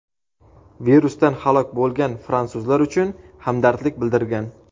virusdan halok bo‘lgan fransuzlar uchun hamdardlik bildirgan.